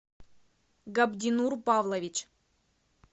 габдинур павлович